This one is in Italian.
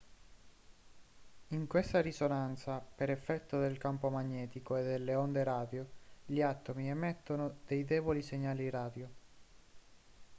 in questa risonanza per effetto del campo magnetico e delle onde radio gli atomi emettono dei deboli segnali radio